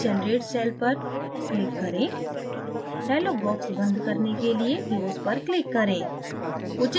फिर generate cell पर click करें dialog box बंद करने के लिए close पर click करें